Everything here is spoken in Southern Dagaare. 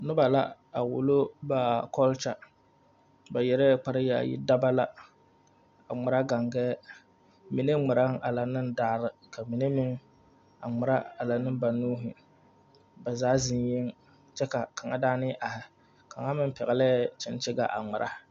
Noba la a wulo ba kɔlkya. Ba yɛrɛ kpar yaayi. Daba la, a ŋmɛra gangɛɛ. Mene ŋmɛraŋ a lɛ ne daare ka mene meŋ a ŋmɛra a lɛ ne ba nuure. Ba zaa zeŋ yeŋ kyɛ ka a kanga daane are. Kanga meŋ pɛgle kyenkyega a ŋmɛra